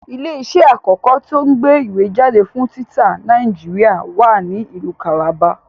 Ilé iṣẹ́ àkọ́kọ́ tí o ń gbé ìwé jáde fún títa Nàìjíríà wa ní ìlú Calabar